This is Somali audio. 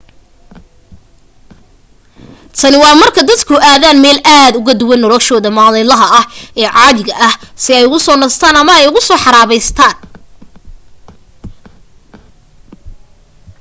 tani waa marka dadku aadaan meel aad ugu duwan noloshooda maalinlaha ah ee caadiga ah si ay u soo nastaan una soo xaraabaystaan